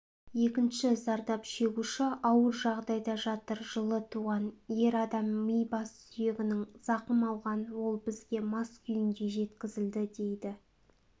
екінші зардап шегуші ауыр жағдайда жатыр жылы туған ер адам ми бас сүйегінен зақым алған ол бізге мас күйінде жеткізілді дейді